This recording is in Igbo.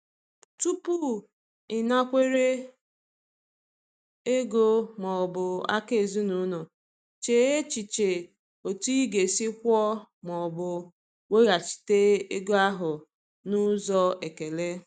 Tupu ịnakwere ego ma ọ bụ aka ezinụlọ, chee echiche otu ị ga-esi kwụọ ma ọ bụ weghachite ego ahụ n’ụzọ ekele.